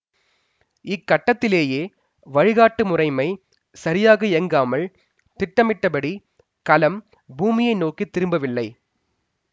இக்கட்டத்திலேயே வழிகாட்டு முறைமை சரியாக இயங்காமல் திட்டமிட்டபடி கலம் பூமியை நோக்கி திரும்பவில்லை